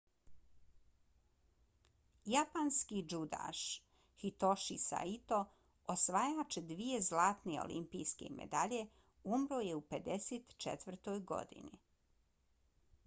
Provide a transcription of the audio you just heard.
japanski džudaš hitoshi saito osvajač dvije zlatne olimpijske medalje umro je u 54. godini